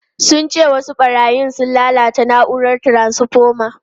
Sun ce wasu barayin sun lalata na’urar taransfoma.